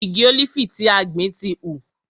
Igi ólífì tí a gbìn ti hù.